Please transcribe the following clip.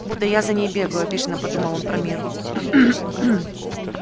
будто я за ней бегаю обиженно подумал он про мирру